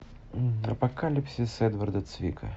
апокалипсис эдварда цвига